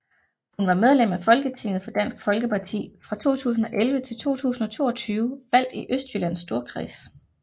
Hun var medlem af Folketinget for Dansk Folkeparti fra 2011 til 2022 valgt i Østjyllands Storkreds